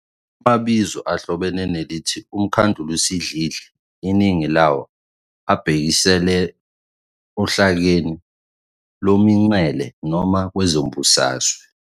Amabizo ahlobene nelithi "UMkhandlusidlidli", iningi lawo abhekisela ohlakeni lomingcele noma kwezombusazwe.